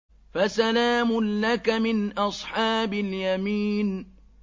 فَسَلَامٌ لَّكَ مِنْ أَصْحَابِ الْيَمِينِ